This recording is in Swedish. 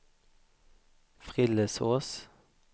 Frillesås